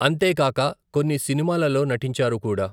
అంతే కాక కొన్ని సినిమాలలో నటించారు కూడా.